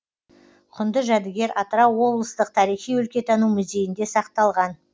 құнды жәдігер атырау облыстық тарихи өлкетану музейінде сақталған